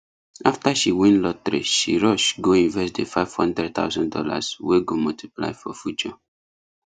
after she win lotteryshe rush go invest the five hundred thousand dollars wey go multiply for future